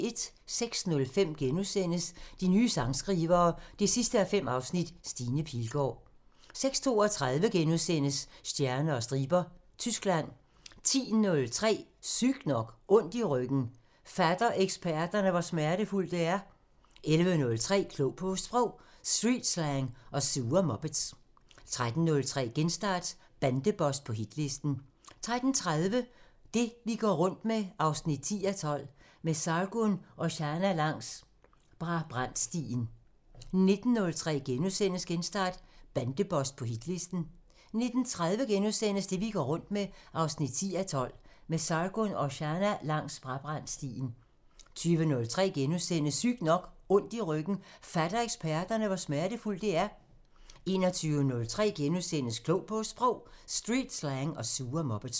06:05: De nye sangskrivere 5:5 – Stine Pilgaard * 06:32: Stjerner og striber – Tyskland * 10:03: Sygt nok: Ondt i ryggen – fatter eksperterne, hvor smertefuldt det er? 11:03: Klog på Sprog: Streetslang og sure muppets 13:03: Genstart: Bandeboss på hitlisten 13:30: Det vi går rundt med 10:12 – Med Sargun Oshana langs Brabrandstien 19:03: Genstart: Bandeboss på hitlisten * 19:30: Det vi går rundt med 10:12 – Med Sargun Oshana langs Brabrandstien * 20:03: Sygt nok: Ondt i ryggen – fatter eksperterne, hvor smertefuldt det er? * 21:03: Klog på Sprog: Streetslang og sure muppets *